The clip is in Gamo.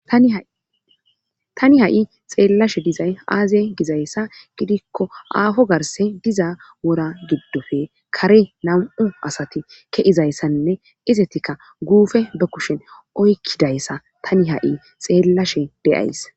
Tani ha'i xeellashe dizay aaze gizayssa gidikko aafo garse diza wora giddofe kare nam'u asati ke'izayssanne izetikka guufe be kushin oykkidayssa tani ha'i xeellashe de'ays